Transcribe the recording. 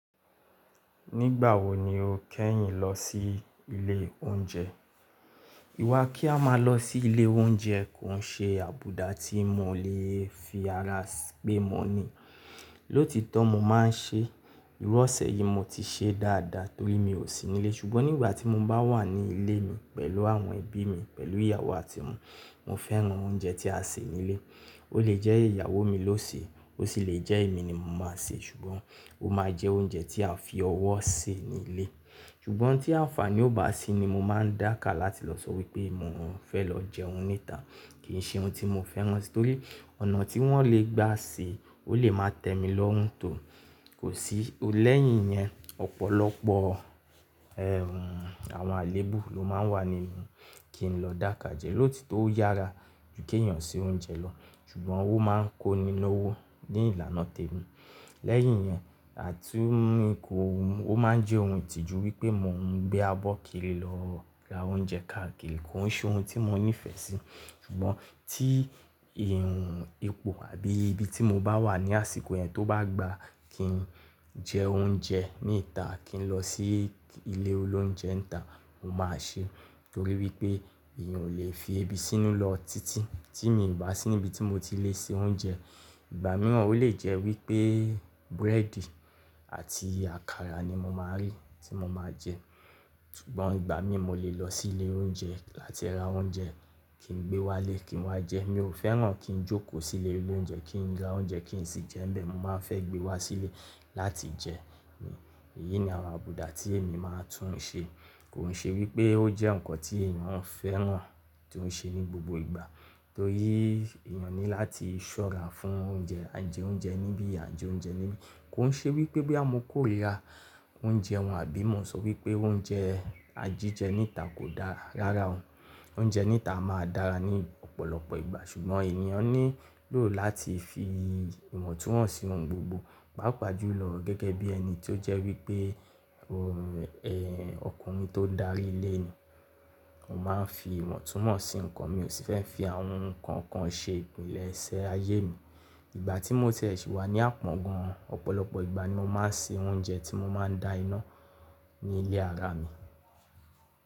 Nígbà wo ni o kẹ́yìn lọ sí ilé oúnjẹ? Ìwà kí a máa lọ sí ilé oúnjẹ kò ń ṣe àbùdá tí mo lè fi ara si pé mo ni. Lóòtító mo máa ń ṣe, ìru ọ́sẹ̀ yìí mo ti ṣe dáadáa torí mi ò sí nílé. Ṣùgbọ́n nígbà tí mo bá wà ní ilé mi pẹ̀lú àwọn ẹbí mi, pẹ̀lú ìyàwó àti ọmọ, mo fẹ́ran oúnjẹ tí a sè nílé. Ó lè jẹ́ ìyàwó mi ló sè é, ó sì lè jẹ́ èmi ni mo máa sè é, ṣùgbọ́n ó máa jẹ oúnjẹ tí à fi ọwọ́ sè nílé. Ṣùgbọ́n tí àǹfàní ò bá sí ni mo máa ń dàkà láti lọ sọ wípé mo ń fẹ́ lọ jẹun níta. Kì ń ṣe ohun tí mo fẹ́ran torí ọ̀nà tí wọ́n lè gbà sè eniyan, ó lè máa tẹ mi lọ́rùn tò. Kò sí, ó lẹ́yìn iyẹn, ọ̀pọ̀lọpọ̀ àwọn àléébù ló máa ń wà níbi kí n lọ dàkà jẹ. Lóòtító o yára ju kí èèyàn se oúnjẹ lọ, ṣùgbọ́n ó máa ń kó ni na owó ní ìlànà tèmi. Lẹ́yìn iyẹn, ati, kowu mi, ó máa ń jẹ́ ohun ìtìjú wípé mò ń gbé abọ́ kiri lọ ra oúnjẹ káàkiri, kò ń ṣe ohun tí mo nífẹ̀ẹ́ sí. Ṣùgbọ́n tí ipo àbí ibi tí mo bá wà ní àsìkò yẹn tó bá gba kí n jẹ oúnjẹ níta kí n lọ sí ilé ile olóúnjẹ níta, mo máa ṣe. Torí wípé èèyàn ò lè fi ebi sínú lọ títí tí mi ò bá sí níbi tí mo ti lè se oúnjẹ. Ìgbà mìíràn ó lè jẹ́ wípé búrẹ́dì àti àkàrà ni mo máa rí tí mo máa jẹ. Ṣùgbọ́n ìgbà mí mo lè lọ sí ilé oúnjẹ láti ra oúnjẹ kí n gbé wá lé kí n wá jẹ́. Mi ò fẹ́ràn kí n jókòó sí ilé olóúnjẹ kí n ra oúnjẹ kí n sì jẹ́ ńbẹ̀. Mo máa ń fẹ́ gbé wá sílé láti jẹ ní. Èyí ni àwọn àbùdá tí èmi máa ń tún ṣe. Kò ń ṣe wípé ó jẹ́ ǹkan tí èèyàn ń fẹ́ràn tó ń ṣe ní gbogbo ìgbà torí èèyàn ní láti ṣọ́ra fún oúnjẹ. A jẹ oúnjẹ níbí, a ń jẹ oúnjẹ níbí. Kò ń ṣe wípé boyà mo kòrira oúnjẹ wọ́n àbí mo n sọ wípé oúnjẹ a jí jẹ níta kò dára. Rárá o. Oúnjẹ níta máa dára ní ọ̀pọ̀lọpọ̀ ìgbà ṣùgbọ́n ènìyàn nílò láti fi ìwọ̀ntúnwọ̀nsí ohun gbogbo. Papà jùlọ gẹ́gẹ́ bí ẹni tó jẹ́ wípé ọkùnrin tó ń darí ilé ni. Mo máa ń fi ìwọ̀ntúnwọ̀n sí ǹkan, mi ò sì fẹ́ fi àwọn ǹkan kan ṣe ìpìlẹ̀ṣẹ̀ ayé mi. Ìgbà tí mo tiẹ síwà ní àpọ́n gan, ọ̀pọ̀lọpọ̀ ìgbà ni mo máa ń se oúnjẹ tí mo máa ń da iná ní ilé ara mi.